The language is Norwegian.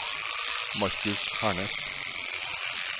Marcus Hernes